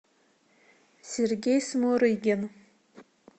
сергей смурыгин